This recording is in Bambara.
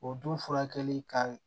O dun furakɛli ka